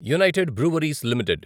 United Breweries limited